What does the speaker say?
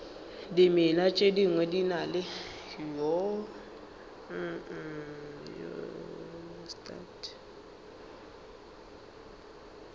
dimela tše dingwe di na